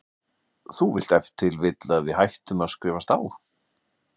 Þú vilt ef til vill að við hættum að skrifast á?